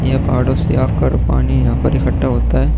ये पहाड़ों से आकर पानी यहाँ पर इकट्ठा होता है।